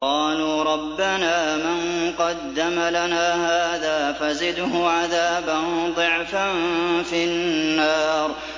قَالُوا رَبَّنَا مَن قَدَّمَ لَنَا هَٰذَا فَزِدْهُ عَذَابًا ضِعْفًا فِي النَّارِ